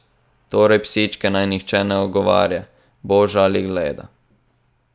Torej psičke naj nihče ne ogovarja, boža ali gleda.